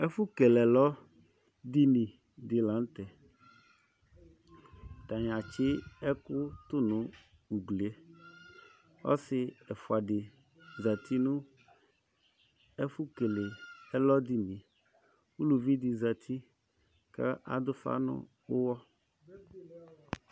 Ɛfu kele ɛlɔdínì di la nu tɛ, atani atsì ɛku tũ nu uglie, ɔsi ɛfua di zati nù ɛfu kele ɛlɔdìní, uluvi di zati k'adu ufa nu uwɔ